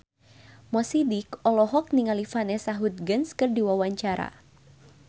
Mo Sidik olohok ningali Vanessa Hudgens keur diwawancara